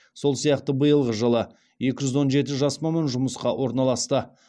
сол сияқты биылғы жылы екі жүз он жеті жас маман жұмысқа орналасты